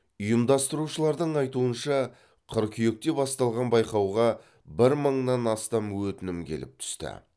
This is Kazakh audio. ұйымдастырушылардың айтуынша қыркүйекте басталған байқауға бір мыңнан астам өтінім келіп түсті